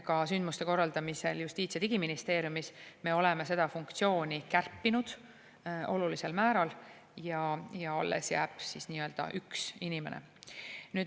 Ka sündmuste korraldamisel Justiits‑ ja Digiministeeriumis me oleme seda funktsiooni kärpinud olulisel määral ja alles jääb üks inimene.